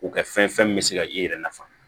U ka fɛn fɛn min bɛ se ka i yɛrɛ nafa